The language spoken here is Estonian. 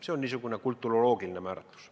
See on niisugune kulturoloogiline määratlus.